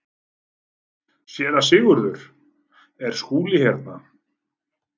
SÉRA SIGURÐUR: Er Skúli hérna?